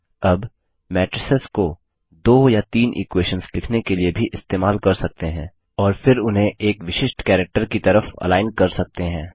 अब मैट्रिसेस को दो या तीन इक्वेशंस लिखने के लिए भी इस्तेमाल कर सकते हैं और फिर उन्हें एक विशिष्ट कैरेक्टर की तरफ अलाइन कर सकते हैं